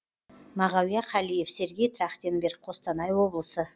мағауия қалиев сергей трахтенберг қостанай облысы